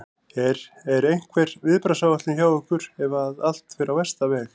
Er, er einhver viðbragðsáætlun hjá ykkur ef að allt fer á versta veg?